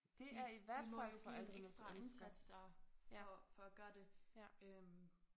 De de må jo give en ekstra indsats så for for at gøre det øh